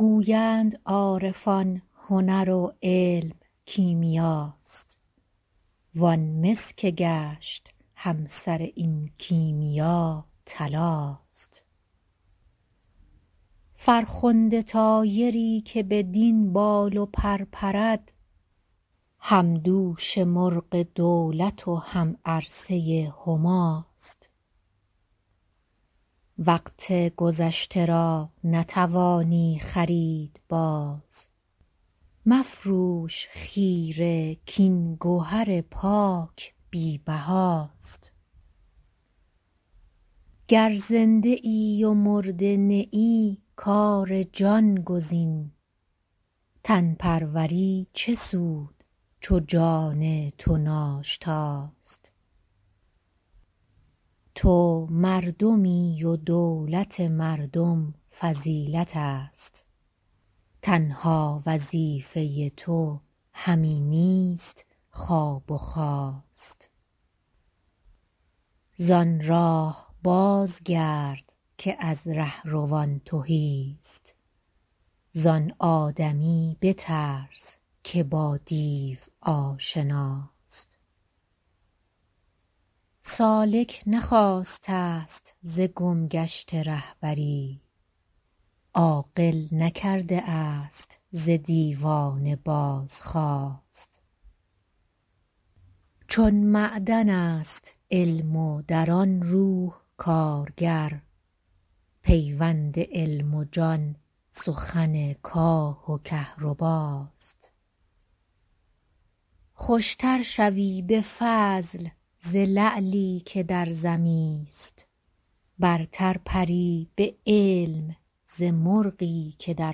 گویند عارفان هنر و علم کیمیاست وان مس که گشت همسر این کیمیا طلاست فرخنده طایری که بدین بال و پر پرد همدوش مرغ دولت و همعرصه هماست وقت گذشته را نتوانی خرید باز مفروش خیره کاین گهر پاک بی بهاست گر زنده ای و مرده نه ای کار جان گزین تن پروری چه سود چو جان تو ناشتاست تو مردمی و دولت مردم فضیلت است تنها وظیفه تو همی نیست خواب و خاست زان راه باز گرد که از رهروان تهی است زان آدمی بترس که با دیو آشناست سالک نخواسته است ز گمگشته رهبری عاقل نکرده است ز دیوانه بازخواست چون معدنست علم و در آن روح کارگر پیوند علم و جان سخن کاه و کهرباست خوشتر شوی بفضل زلعلی که در زمی است برتر پری بعلم ز مرغی که در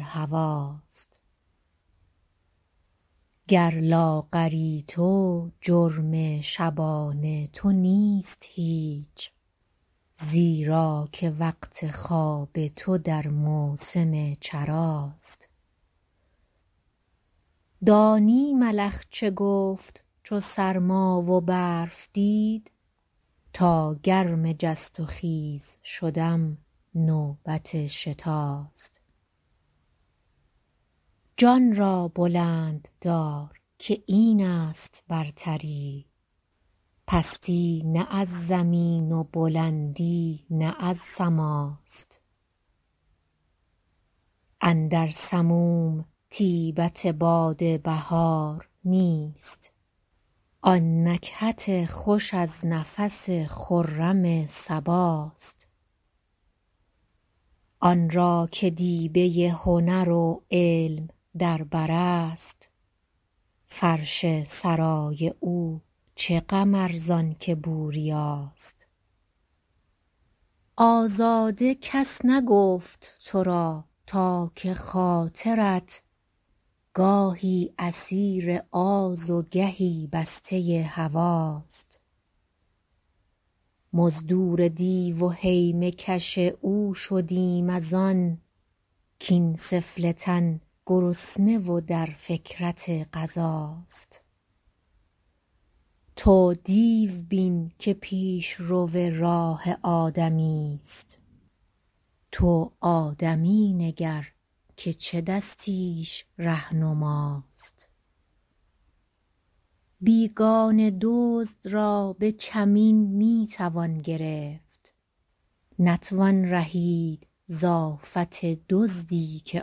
هواست گر لاغری تو جرم شبان تو نیست هیچ زیرا که وقت خواب تو در موسم چراست دانی ملخ چه گفت چو سرما و برف دید تا گرم جست و خیز شدم نوبت شتاست جان را بلند دار که این است برتری پستی نه از زمین و بلندی نه از سماست اندر سموم طیبت باد بهار نیست آن نکهت خوش از نفس خرم صباست آن را که دیبه هنر و علم در بر است فرش سرای او چه غم ارزانکه بوریاست آزاده کس نگفت ترا تا که خاطرت گاهی اسیر آز و گهی بسته هواست مزدور دیو و هیمه کش او شدیم از آن کاین سفله تن گرسنه و در فکرت غذاست تو دیو بین که پیش رو راه آدمی است تو آدمی نگر که چو دستیش رهنماست بیگانه دزد را بکمین میتوان گرفت نتوان رهید ز آفت دزدی که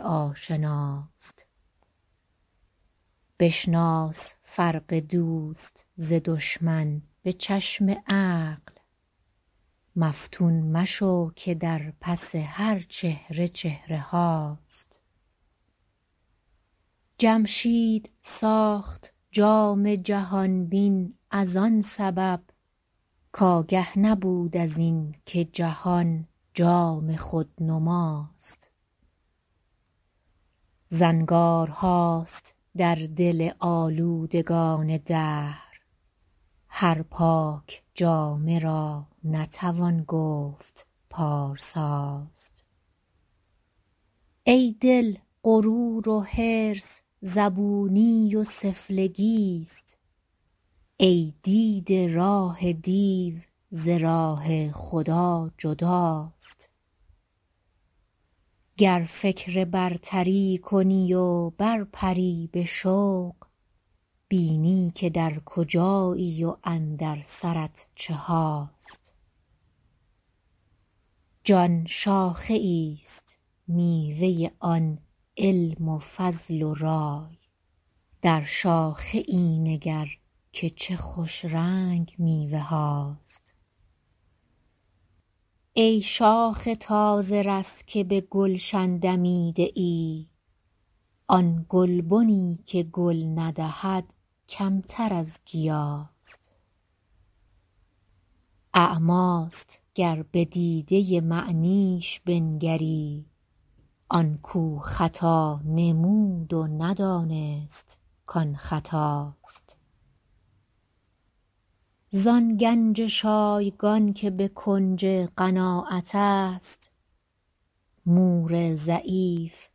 آشناست بشناس فرق دوست ز دشمن بچشم عقل مفتون مشو که در پس هر چهره چهره هاست جمشید ساخت جام جهان بین از آن سبب که آگه نبود ازین که جهان جام خودنماست زنگارهاست در دل آلودگان دهر هر پاک جامه را نتوان گفت پارساست ایدل غرور و حرص زبونی و سفلگی است ای دیده راه دیو ز راه خدا جداست گر فکر برتری کنی و بر پری بشوق بینی که در کجایی و اندر سرت چهاست جان شاخه ایست میوه آن علم و فضل و رای در شاخه ای نگر که چه خوشرنگ میوه هاست ای شاخ تازه رس که بگلشن دمیده ای آن گلبنی که گل ندهد کمتر از گیاست اعمی است گر بدیده معنیش بنگری آن کو خطا نمود و ندانست کان خطاست زان گنج شایگان که بکنج قناعت است مور ضعیف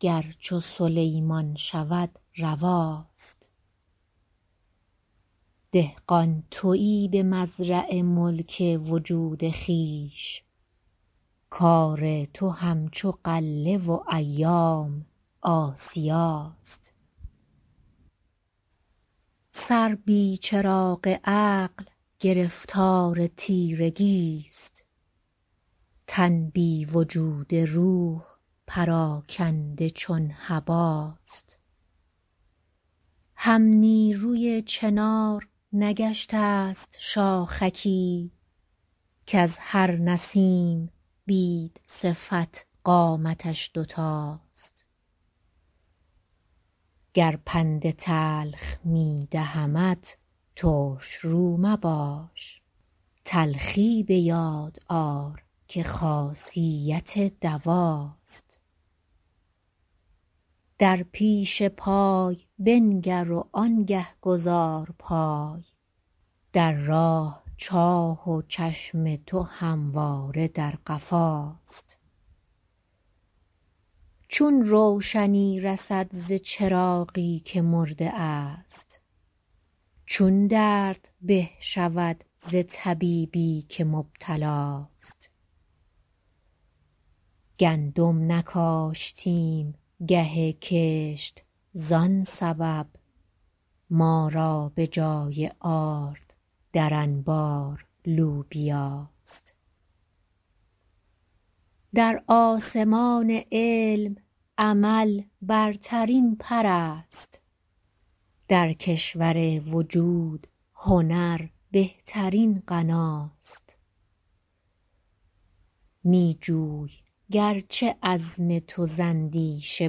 گر چو سلیمان شود رواست دهقان تویی بمزرع ملک وجود خویش کار تو همچو غله و ایام آسیاست سر بی چراغ عقل گرفتار تیرگی است تن بی وجود روح پراکنده چون هباست همنیروی چنار نگشته است شاخکی کز هر نسیم بیدصفت قامتش دوتاست گر پند تلخ میدهمت ترشرو مباش تلخی بیاد آر که خاصیت دواست در پیش پای بنگر و آنگه گذار پای در راه چاه و چشم تو همواره در قفاست چون روشنی رسد ز چراغی که مرده است چون درد به شود ز طبیبی که مبتلاست گندم نکاشتیم گه کشت زان سبب ما را بجای آرد در انبار لوبیاست در آسمان علم عمل برترین پراست در کشور وجود هنر بهترین غناست میجوی گرچه عزم تو ز اندیشه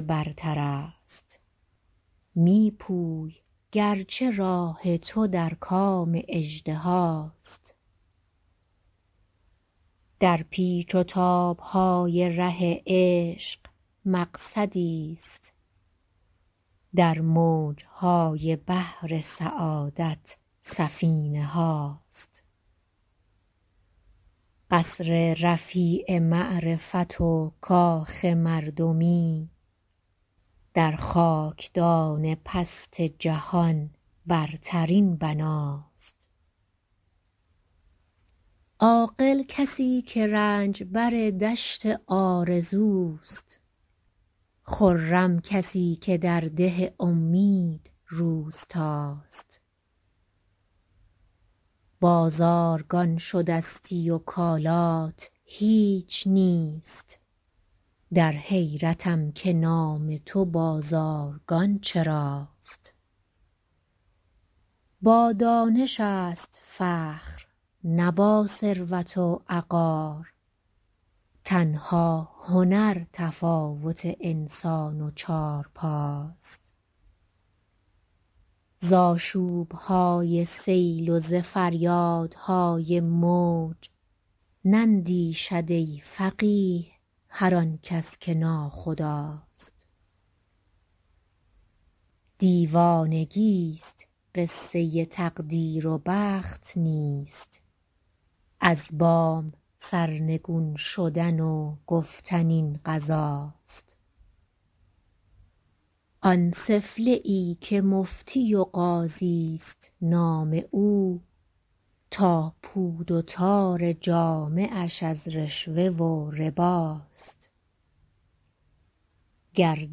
برتر است میپوی گرچه راه تو در کام اژدهاست در پیچ و تابهای ره عشق مقصدیست در موجهای بحر سعادت سفینه هاست قصر رفیع معرفت و کاخ مردمی در خاکدان پست جهان برترین بناست عاقل کسیکه رنجبر دشت آرزو است خرم کسیکه درده امید روستاست بازارگان شدستی و کالات هیچ نیست در حیرتم که نام تو بازارگان چراست با دانش است فخر نه با ثروت و عقار تنها هنر تفاوت انسان و چارپاست زاشوبهای سیل و ز فریادهای موج نندیشد ای فقیه هر آنکس که ناخداست دیوانگی است قصه تقدیر و بخت نیست از بام سرنگون شدن و گفتن این قضاست آن سفله ای که مفتی و قاضی است نام او تا پود و تار جامه اش از رشوه و رباست گر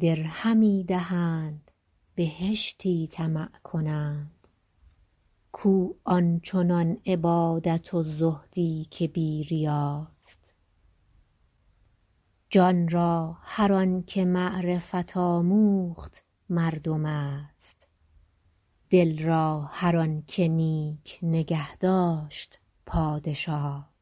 درهمی دهند بهشتی طمع کنند کو آنچنان عبادت و زهدی که بیریاست جانرا هر آنکه معرفت آموخت مردم است دل را هر آنکه نیک نگهداشت پادشاست